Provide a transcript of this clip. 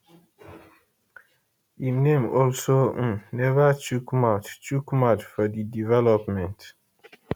im name also um neva chook mouth chook mouth for di development